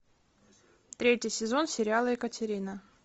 третий сезон сериала екатерина